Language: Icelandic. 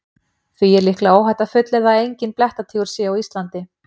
Því er líklega óhætt að fullyrða að enginn blettatígur sé á Íslandi.